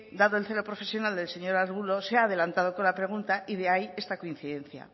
dado el celo profesional del señor arbulo se ha adelantado con la pregunta y de ahí esta coincidencia